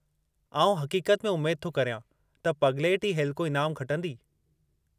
आऊं हक़ीक़त में उमेदु थो करियां त पगलैट ई हेलिको ईनामु खटंदी।